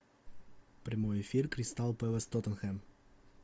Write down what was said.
прямой эфир кристал пэлас тоттенхэм